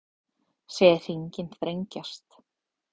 Segja hringinn þrengjast